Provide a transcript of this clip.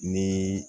Ni